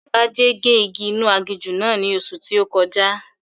Agbájé gé igi inú aginjù náà ní oṣù tí ó kọjá